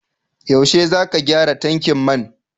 Yaushe zaka gyara tankin man?